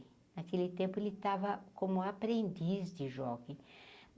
Naquele tempo ele estava como aprendiz de jockey.